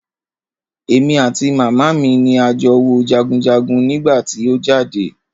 Èmi àti màmá mi ni a jọ wo jagunjagun nígbà tí o jáde.